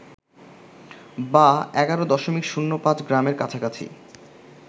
বা ১১.০৫ গ্রামের কাছাকাছি